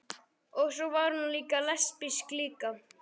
Og svo var hún lesbísk líka.